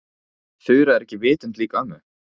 En Þura er ekki vitund lík ömmu.